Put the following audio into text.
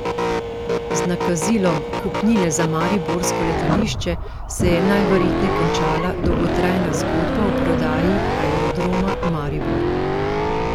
Z nakazilom kupnine za mariborsko letališče se je najverjetneje končala dolgotrajna zgodba o prodaji Aerodroma Maribor.